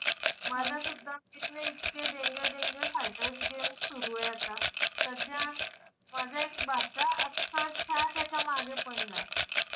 माझासुद्धा इतके danger danger fighter game सुरूयं आता. सध्या माझा एक भाचा अक्षरशः त्याच्या मागे पडलाय.